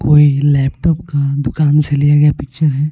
कोई लैपटॉप का दुकान से लिया गया पिक्चर है.